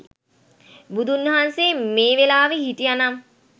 බුදුන් වහන්සේ මේ වෙලාවෙ හිටියා නම්